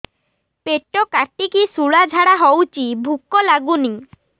ପେଟ କାଟିକି ଶୂଳା ଝାଡ଼ା ହଉଚି ଭୁକ ଲାଗୁନି